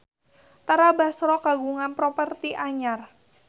Tara Basro kagungan properti anyar